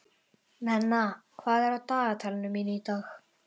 Nenna, hvað er á dagatalinu mínu í dag?